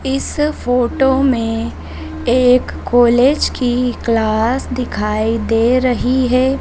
इस फोटो में एक कॉलेज की क्लास दिखाई दे रही है।